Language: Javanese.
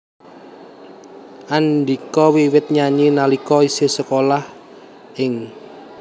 Andhika wiwit nyanyi nalika isih sekolah ing